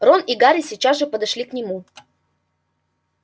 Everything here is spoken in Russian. рон и гарри сейчас же подошли к нему